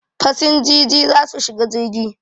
Fasinjiji za su shiga jirgi